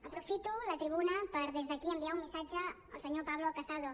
aprofito la tribuna per des d’aquí enviar un missatge al senyor pablo casado